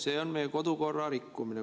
See on meie kodukorra rikkumine.